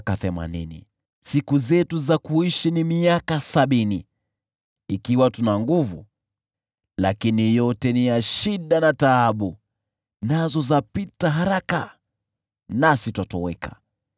Siku zetu za kuishi ni miaka sabini, au miaka themanini ikiwa tuna nguvu, lakini yote ni ya shida na taabu, nazo zapita haraka, nasi twatoweka.